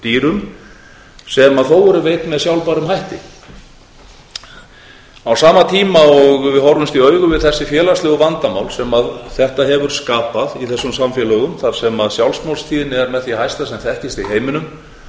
dýrum sem þó eru veidd með sjálfbærum hætti á sama tíma og við horfumst í augun við þessi félagslegu vandamál sem þetta hefur skapað í þessum samfélögum þar sem sjálfsmorðstíðni er með því hæsta sem þekkist í heiminum